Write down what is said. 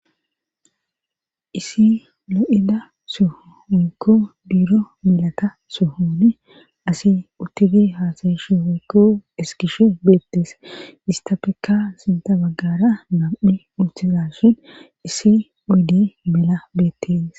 isi lo7ida suhuyku diuro melata suhun asi uttibi haasayishi oykku eskishe beettes ista pekka sinta baggara gam7i urtiza shin isi uydi mela beettees